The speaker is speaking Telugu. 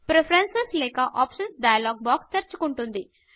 ప్రిఫరెన్సెస్ లేక ఆప్షన్స్ డైలాగ్ బాక్స్ తెరుచుకుంటుంది